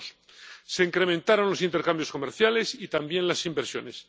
2002. Se incrementaron los intercambios comerciales y también las inversiones.